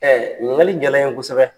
ɲiniŋali jala n ye kosɛbɛ.